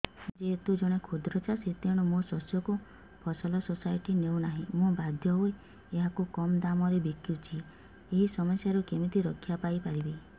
ମୁଁ ଯେହେତୁ ଜଣେ କ୍ଷୁଦ୍ର ଚାଷୀ ତେଣୁ ମୋ ଶସ୍ୟକୁ ଫସଲ ସୋସାଇଟି ନେଉ ନାହିଁ ମୁ ବାଧ୍ୟ ହୋଇ ଏହାକୁ କମ୍ ଦାମ୍ ରେ ବିକୁଛି ଏହି ସମସ୍ୟାରୁ କେମିତି ରକ୍ଷାପାଇ ପାରିବି